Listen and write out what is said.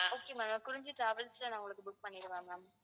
okay ma'am Kurinji travels ல நான் உங்களுக்கு book பண்ணிடுவா ma'am